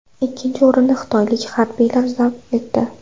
Ikkinchi o‘rinni xitoylik harbiylar zabt etdi.